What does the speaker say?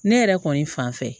Ne yɛrɛ kɔni fan fɛ